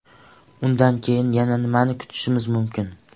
Undan keyin yana nimani kutishimiz mumkin?